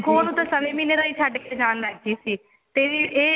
ਦੇਖੋ ਉਹਨੂੰ ਤਾਂ ਸਵਾ ਮਹੀਨੇ ਦਾ ਹੀ ਛੱਡ ਕੇ ਜਾਣ ਲੱਗ ਗਈ ਸੀ ਤੇ ਇਹ